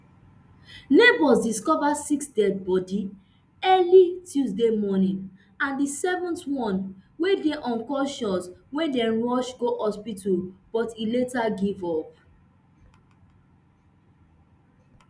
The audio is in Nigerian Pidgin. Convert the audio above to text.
neighbours discover six deadibodi early tuesday morning and a seventh one wey bin dey unconscious wey dem rush go hospital but e later give up